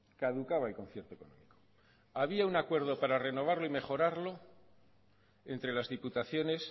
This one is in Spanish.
caducaba el concierto económico había un acuerdo para renovarlo y mejorarlo entre las diputaciones